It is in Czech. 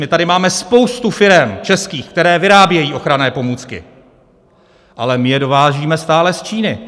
My tady máme spoustu firem českých, které vyrábějí ochranné pomůcky, ale my je dovážíme stále z Číny.